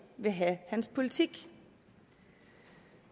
vil have hans politik